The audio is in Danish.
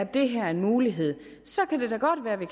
det her er en mulighed så kan det da godt være at vi